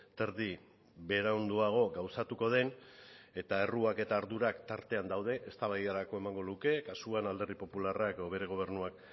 terdi beranduago gauzatuko den eta erruak eta ardurak tartean daude eztabaidarako emango luke kasuan alderdi popularrak edo bere gobernuak